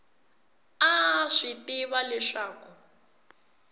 a a swi tiva leswaku